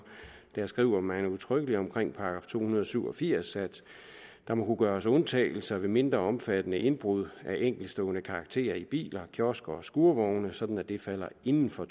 skriver man udtrykkeligt om § to hundrede og syv og firs at der må kunne gøres undtagelser ved mindre omfattende indbrud af enkeltstående karakter i biler kiosker og skurvogne så det falder inden for